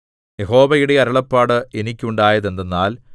യഹോവയുടെ അരുളപ്പാട് എനിക്കുണ്ടായത് എന്തെന്നാൽ